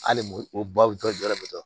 Hali o babu tɔ bɛ tɔ